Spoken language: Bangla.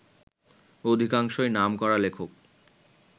অধিকাংশই নামকরা লেখক